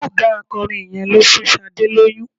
Ọ̀gá akọrin yẹn ló fún Sadé lóyún.